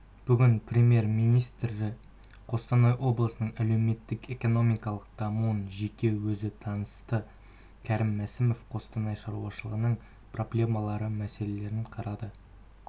бүгін премьер-министрі қостанай облысының әлеуметтік-экономикалық дамуымен жеке өзі танысты кәрім мәсімов қостанай шаруаларының проблемалы мәселелерін қарады